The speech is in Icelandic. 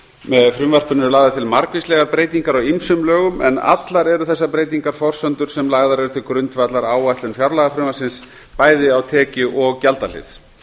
með frumvarpinu eru lagðar til margvíslegar breytingar á ýmsum lögum en allar eru þessar breytingar forsendur sem lagðar eru til grundvallar áætlun fjárlagafrumvarpsins bæði á tekjuhlið og gjaldahlið